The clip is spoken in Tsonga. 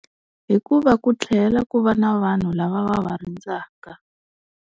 Hikuva ku tlhela ku va na vanhu lava va va rindzaka.